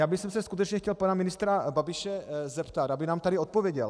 Já bych se skutečně chtěl pana ministra Babiše zeptat, aby nám tady odpověděl.